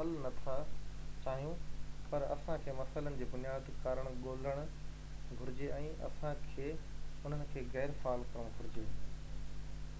حل نٿا چاهيون پر اسان کي مسئلن جو بنيادي ڪارڻ ڳولهڻ گهرجي ۽ اسان کي انهن کي غير فعال ڪرڻ گهرجي